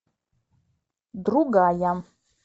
другая